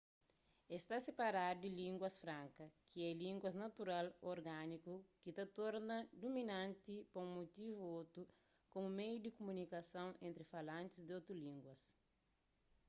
es sta siparadu di línguas franka ki é línguas natural ô organiku ki ta torna duminanti pa un mutivu ô otu komu meiu di kumunikason entri falantis di otus língua